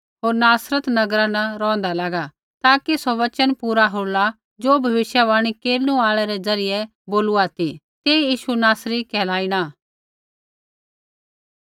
होर नासरत नगरा न रौंहदा लागा ताकि सौ वचन पूरा होला ज़ो भविष्यवाणी केरनु आल़ै रै ज़रियै बोलूआ ती तेई यीशु नासरी कहलाइणा